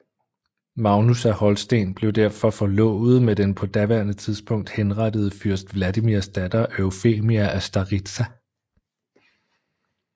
Magnus af Holsten blev derfor forlovet med den på daværende tidspunkt henrettede fyrst Vladimirs datter Eufemia af Staritsa